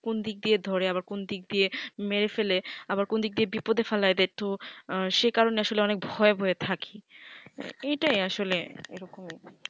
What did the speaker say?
কোনদিক দিয়ে ধরে আবার কোনদিক দিয়ে মেরে ফেলে আবার কোনদিক দিয়ে বিপদ এ ফেলে সে কারণ এ আসলে খুব ভয়ে ভয়ে থাকি এইটাই আসলে এরকম